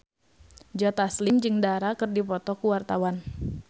Joe Taslim jeung Dara keur dipoto ku wartawan